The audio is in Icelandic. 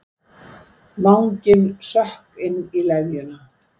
Vanginn sökk inn í leðjuna.